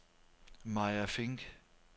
Maya Fink